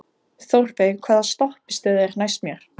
Þórveig, hvaða stoppistöð er næst mér?